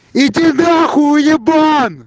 иди на хуй ебан